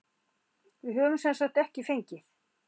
Við höfum semsagt ekki fengið.